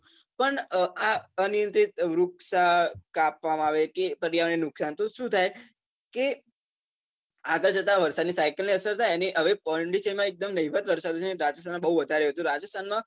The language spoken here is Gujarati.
પણ અ આ અનિયંત્રિત વૃક્ષ કાપવામાં આવે કે પર્યાવરણને નુકશાન તો શું થાય કે આગળ જતાં વરસાદનાં cycle ને અસર થાય અને હવે પોન્ડુંચેરી માં એકદમ નહીવત વરસાદ અને રાજસ્થાન માં બૌ વધારે હોય છે તો રાજસ્થાન માં